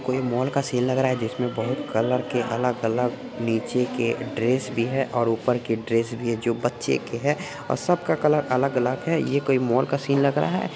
यह मॉल का सीन लग रहा है जिसमें बहुत कलर के अलग अलग नीचे के ड्रेस भी है और ऊपर की ड्रेस भी है जो बच्चे के है और सबका कलर अलग अलग है यह कोई मॉल का सीन लगा है।